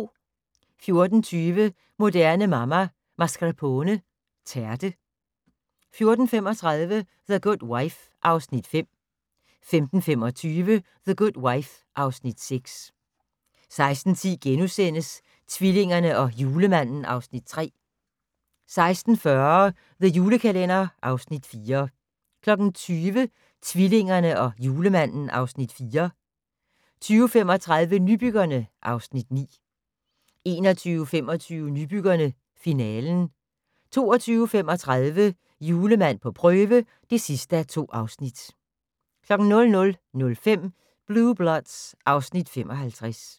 14:20: Moderne Mamma - Mascarpone tærte 14:35: The Good Wife (Afs. 5) 15:25: The Good Wife (Afs. 6) 16:10: Tvillingerne og Julemanden (Afs. 3)* 16:40: The Julekalender (Afs. 4) 20:00: Tvillingerne og Julemanden (Afs. 4) 20:35: Nybyggerne (Afs. 9) 21:25: Nybyggerne - finalen 22:35: Julemand på prøve (2:2) 00:05: Blue Bloods (Afs. 55)